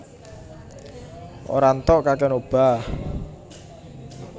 Ora ntok kakèan obah